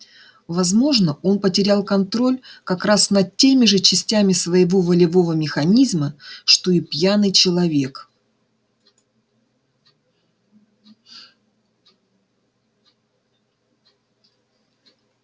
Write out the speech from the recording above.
возможно он потерял контроль как раз над теми же частями своего волевого механизма что и пьяный человек